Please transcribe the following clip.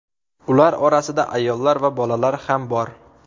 Ular orasida ayollar va bolalar ham bor.